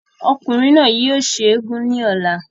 ọkùnrin náà ni yóò ṣe eégún ní ọ̀la